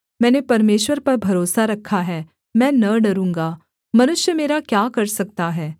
मैंने परमेश्वर पर भरोसा रखा है मैं न डरूँगा मनुष्य मेरा क्या कर सकता है